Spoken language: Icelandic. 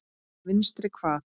Vinstri hvað?